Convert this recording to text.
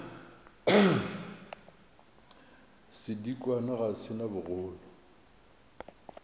sedikwa ga se na bogolo